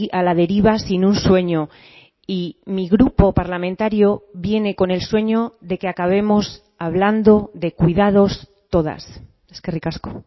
a la deriva sin un sueño y mi grupo parlamentario viene con el sueño de que acabemos hablando de cuidados todas eskerrik asko